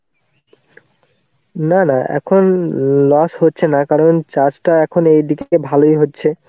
না না এখন loss হচ্ছে না কারণ চাষটা এখন এইদিকে ভালোই হচ্ছে.